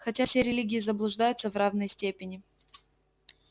хотя все религии заблуждаются в равной степени